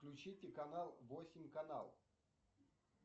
включите канал восемь канал